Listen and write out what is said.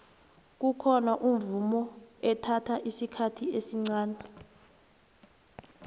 kukhona umvumo ethatha isikhathi esncani